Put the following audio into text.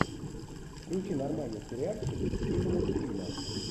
включи нормальный сериальчик в стиле мультфильма